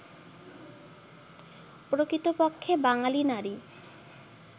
প্রকৃতপক্ষে বাঙালি নারী